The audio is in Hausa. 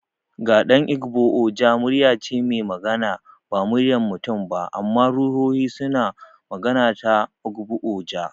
Ga dan Igbo, Oja muryar ce mai magana. Ba muryar mutum ba, amma ruhohi suna magana ta Ogbu-oja.